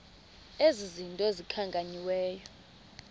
ezi zinto zikhankanyiweyo